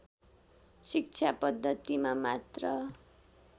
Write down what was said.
शिक्षा पद्धतिमा मात्र